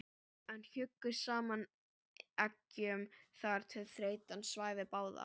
en hjuggu saman eggjum þar til þreytan svæfði báða.